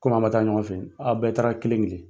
Komi a' ma taa ɲɔgɔn fɛ, a' bɛɛ taara kelen kelen.